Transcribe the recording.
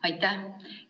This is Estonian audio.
Aitäh!